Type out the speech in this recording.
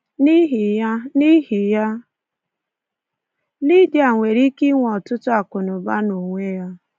N'ihi ya, N'ihi ya, Lydia nwere ike inwe ọtụtụ akụnaụba n'onwe ya.